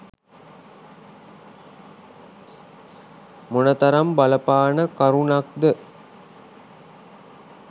මොනතරම් බලපාන කරුණක්ද?